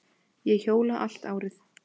Ég hjóla allt árið.